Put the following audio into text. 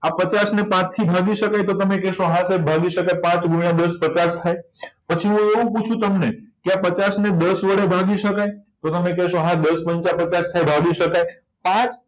આ પચાસ ને પાંચ થી ભાગી શકાય તો તમે કહેશો હા sir ભાગી શકાય પાંચ ગુણ્યા દસ પચાસ થાય પછી એવું પૂછું તમને પચાસને દસ વડે ભાગી શકાય તો હા તમે કહેશો દસ પંચા પચાસ થાય ભાગી શકાય પાંચ